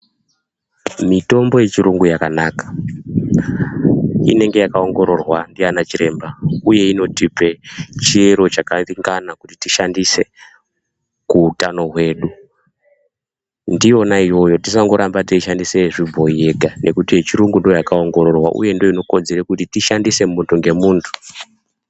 Mitombo yechiyungu yakanaka, inenge yakaongororwa ndiana chiremba uye inotipe chiyero chakaringana kuti tishandise kuutano hwedu. Ndiyona iyoyo, tisandoramba tichishandisa yechibhoi ngekuti yechiyungu ndiyo yakaongororwa uye ndiyo inokodzera kuti tishandise muntu ngemuntu.